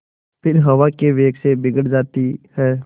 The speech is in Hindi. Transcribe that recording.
फिर हवा के वेग से बिगड़ जाती हैं